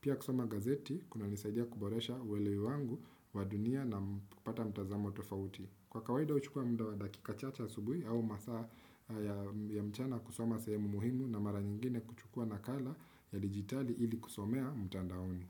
Pia kusoma gazeti, kuna nisaidia kuboresha uwelewi wangu, wadunia na kupata mtazamo tofauti. Kwa kawaida huchukua muda wa dakika chache asubuhi au masaa ya mchana kusoma sehemu muhimu na mara nyingine kuchukua nakala ya digitali ili kusomea mtandaoni.